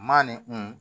Maa ni kun